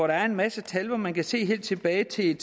der er en masse tal og hvor man kan se helt tilbage til